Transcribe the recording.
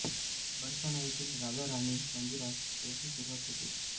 बरसाना येथील राधा राणी मंदिरात याची सुरुवात होते